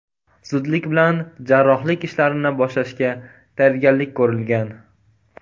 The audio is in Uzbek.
Zudlik bilan jarrohlik ishlarini boshlashga tayyorgarlik ko‘rilgan.